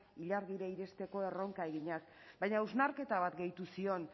ilargira iristeko erronka eginez baina hausnarketa bat gehitu zion